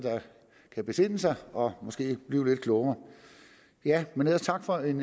kan besinde sig og måske blive lidt klogere ellers tak for en